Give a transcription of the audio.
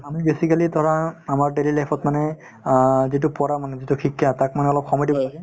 আমি basically ধৰা আমাৰ daily life ত মানে আ যিতো পঢ়া মানুহ যিতো শিক্ষা তাক মানে অলপ সময় দিব লাগে